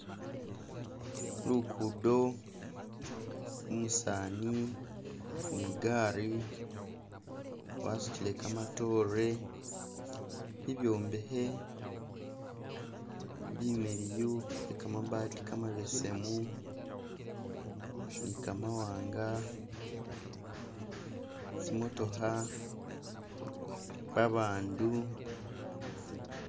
Lukudo, umusaani ni'gaari wasutile kamatoore, ibyombehe bimiliyu ni kamabati kamabesemu ni kamawanga, tsimotooha, babandu,